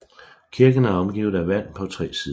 Kirken er omgivet af vand på tre sider